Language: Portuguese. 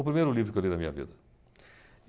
O primeiro livro que eu li na minha vida.